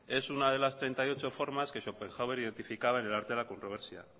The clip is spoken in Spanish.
es una de las treinta y ocho formas que schopenhauer identificaba en el arte de la controversia